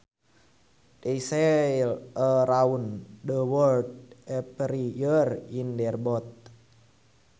They sail around the world every year in their boat